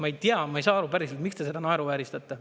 Ma ei tea, ma ei saa aru päriselt, miks te seda naeruvääristate.